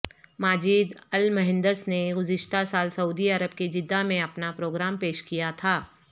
Majid al Muhandis نے گذشتہ سال سعودی عرب کے جدہ میں اپنا پروگرام پیش کیا تھا